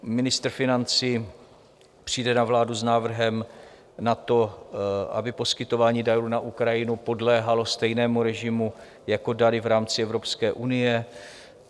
Ministr financí přijde na vládu s návrhem na to, aby poskytování darů na Ukrajinu podléhalo stejnému režimu jako dary v rámci Evropské unie.